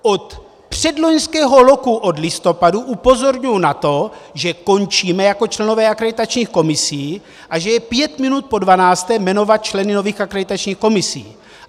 Od předloňského roku od listopadu upozorňuji na to, že končíme jako členové akreditačních komisí a že je pět minut po dvanácté jmenovat členy nových akreditačních komisí.